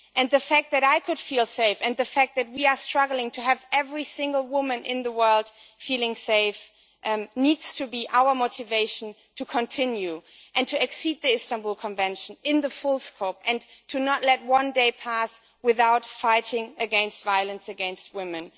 The fact that I could feel safe and that we are struggling to have every single woman in the world feeling safe needs to be our motivation to continue and to exceed the Istanbul Convention in its full scope and not to let one day pass without fighting against violence against women.